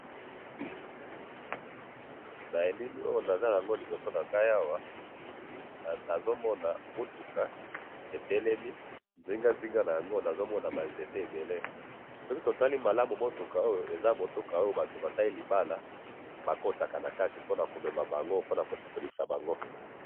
Na elili oyo naza naango liboso nangayi awa, nazomona mutuka etelemi, nzinganzinga nayango nazomona banzete ebele, soki totali malamu mutuka oyo, eza mutuka oyo batu basali libala, bakotaka nakati ponakomema bango, pona ko sepelisa bango.